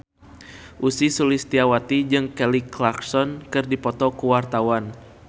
Ussy Sulistyawati jeung Kelly Clarkson keur dipoto ku wartawan